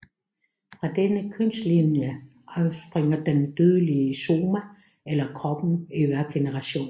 Fra denne kønslinje afspringer den dødelige soma eller kroppen i hver generation